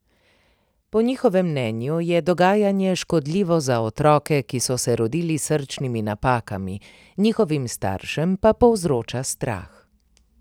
Po njihovem mnenju je dogajanje škodljivo za otroke, ki so se rodili s srčnimi napakami, njihovim staršem pa povzroča strah.